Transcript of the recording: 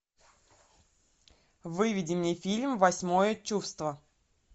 выведи мне фильм восьмое чувство